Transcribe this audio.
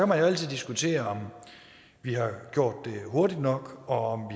man jo altid diskutere om vi har gjort det hurtigt nok og